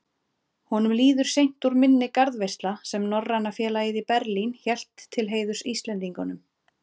Honum líður seint úr minni garðveisla, sem Norræna félagið í Berlín hélt til heiðurs Íslendingunum.